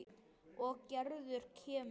Og Gerður kemur.